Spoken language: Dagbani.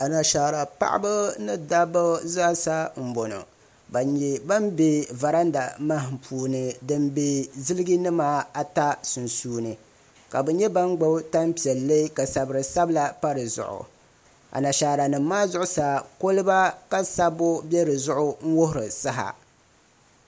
Anashaara paɣaba ni dabba zaasa n boŋɔ ban nyɛ ban be varanda mahim puuni din be ziliji nima ata sunsuuni ka bɛ nyɛ ban gbibi tampiɛlli ka zabiri sabila pa di zuɣu anashaara nima maa zuɣusaa koliba ka sabbu be di zuɣu n wuhiri saha.